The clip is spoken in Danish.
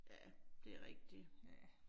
Ja, det rigtigt, ja